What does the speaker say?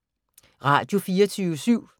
Radio24syv